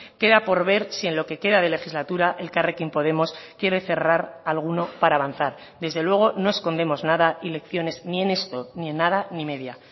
queda por ver si en lo que queda de legislatura elkarrekin podemos quiere cerrar alguno para avanzar desde luego no escondemos nada y lecciones ni en esto ni en nada ni media